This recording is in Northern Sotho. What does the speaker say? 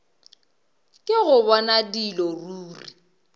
ke go bona dilo ruri